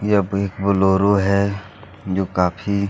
यह big Bolero हैजो काफ़ी--